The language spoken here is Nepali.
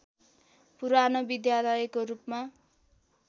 पुरानो विद्यालयको रूपमा